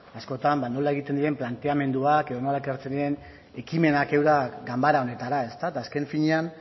askotan nola egiten diren planteamenduak edo nola ekartzen diren ekimenak eurak ganbara honetara eta azken finean